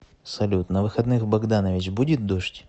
салют на выходных в богданович будет дождь